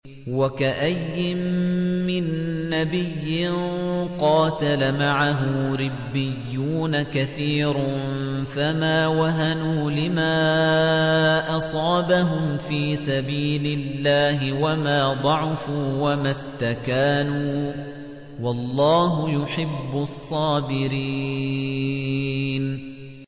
وَكَأَيِّن مِّن نَّبِيٍّ قَاتَلَ مَعَهُ رِبِّيُّونَ كَثِيرٌ فَمَا وَهَنُوا لِمَا أَصَابَهُمْ فِي سَبِيلِ اللَّهِ وَمَا ضَعُفُوا وَمَا اسْتَكَانُوا ۗ وَاللَّهُ يُحِبُّ الصَّابِرِينَ